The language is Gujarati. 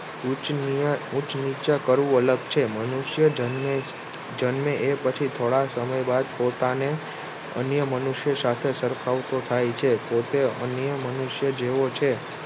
ઉચ્ચ નીચ કરવું અલગ છે મનુષ્ય જન્મે એ પછી થોડા સમય બાદ પોતાને અન્ય મનુષ્ય સાથે સરખાવતો થાય છે. પોતે અન્ય મનુષ્ય જેવો છે